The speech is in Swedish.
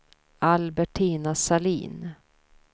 Albertina Sahlin